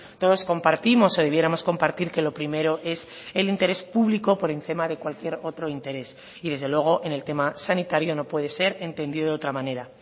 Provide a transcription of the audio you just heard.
todos compartimos o debiéramos compartir que lo primero es el interés público por encima de cualquier otro interés y desde luego en el tema sanitario no puede ser entendido de otra manera